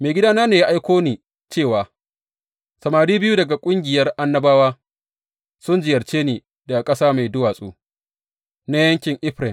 Maigidana ne ya aiko ni cewa, Samari biyu daga ƙungiyar annabawa sun ziyarce ni daga ƙasa mai duwatsu na yankin Efraim.